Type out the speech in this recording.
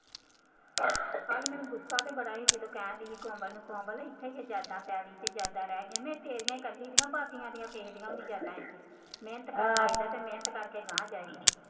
ਕੱਲ ਮੈਨੂੰ ਗੁੱਸਾ ਤੇ ਬੜਾ ਸੀ ਜਦੋਂ ਕਹਿਣ ਡੇਈ ਸੀ ਕੋਮਲ ਕੋਮਲ ਜ਼ਰਦਾ ਪੈਲੀ ਤੇ ਜ਼ਰਦਾ ਰਹਿ ਗਿਆ, ਮੈਂ ਤੇਰੀਆਂ ਹੀ ਕਰਦੀ ਸੀ ਨਾ ਭਾਬੀਆਂ ਦੀਆਂ ਤੇਰੀਆਂ ਵੀ ਚਾਲਾਂ ਮਿਹਨਤ ਕਰ ਆਈ ਦਾ ਅਤੇ ਮਿਹਨਤ ਕਰਕੇ ਅਗਾਂਹ ਜਾਈਦਾ